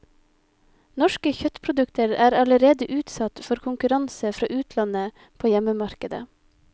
Norske kjøttprodukter er allerede utsatt for konkurranse fra utlandet på hjemmemarkedet.